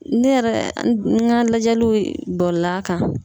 Ne yɛrɛ n ka lajɛliw bɔla a kan.